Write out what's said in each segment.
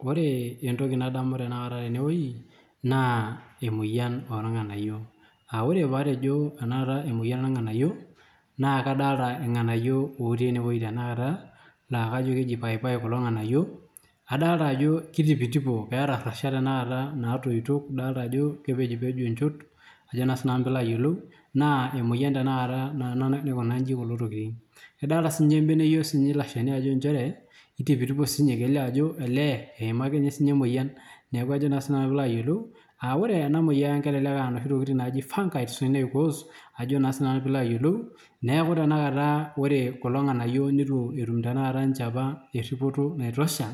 Ore entoki nadamu tenakata tene wuei naa emoyian oorng'anayio, aa ore paatejo enakata emoyian oorng'anayio naa kadolta irng'anayio otii ene wuei tenakata naa kajo keji paipai kulo ng'anayio. Adalta ajo kitipitipo keeta rrashat tenakata naatoito, idolta ajo kepejipejo inchot ajo naa sinanu piilo ayiolou naa emoyian tenakata naa ena naikuna nji kulo tokitin. Idolta siinye embeneyo siinye ilo shani inchere itipitipo siinye kelio ajo elee eima ake nye siinye emoyian. Neeku ajo naa sinanu piilo ayiolou aa ore ena moyian kelelek aa inoshi tokitin naaji fungis naicause, ajo naa sinanu piilo ayiolou, neku tenakata ore kulo ng'anayio nitu etum tenakata nche apa eripoto naitosha.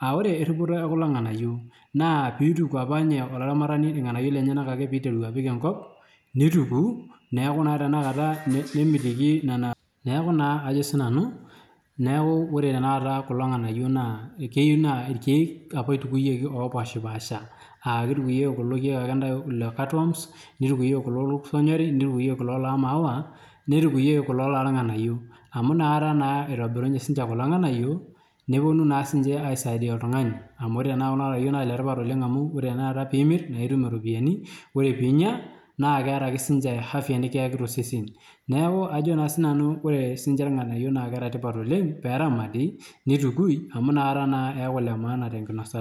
Aa ore eripoto e kulo ng'anayio naa piituku apa nye olaramatani irng'anayio lenyenak ake piiteru apik enkop, nituku neeku naa tenakata nye sii omitiki nena, neeku naa ajo sinanu , neeku ore tenakata kulo ng'anayio naa keyiu naa irkeek apa itukuyieki apa opaashipaasha. Aa kitukuyieki kulo keek ake ntae le catworms, nitukuyieki kulo lorkuto onyori, nitukuyieki kulo loo maua, nitukuyieki kulo lorng'anayio amu inakata naa itobirunye siinche kulo ng'anayio neponu naa siinche aisaidia oltung'ani amu ore naa kuna tokitin naa ile tipat oleng' amu ore tenakata piimir nae itum iropiani, ore piinya naake keeta afya nekiyaki to sesen. Neeku ajo naa sinanu ore siinche irng'anayio naake eeta tipat oleng' pee eramati nitukui amu inakata naa eyaku ile maana te nkinosata.